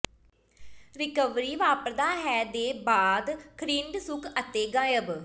recovery ਵਾਪਰਦਾ ਹੈ ਦੇ ਬਾਅਦ ਖਰਿੰਡ ਸੁੱਕ ਅਤੇ ਗਾਇਬ